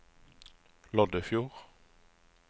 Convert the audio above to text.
Loddefjord